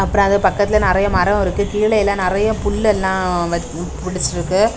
அப்ரோ அது பக்கத்துல நறைய மரம் இருக்கு கீழ்ழெல்லாம் நெறைய புல் லெல்லாம் புடிச்சிருக்கு.